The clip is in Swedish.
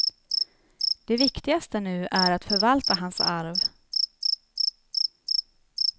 Det viktigaste nu är att förvalta hans arv.